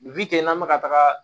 Bi ten n'an bɛ ka taga